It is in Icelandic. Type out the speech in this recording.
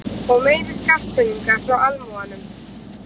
Og meiri skattpeninga frá almúganum.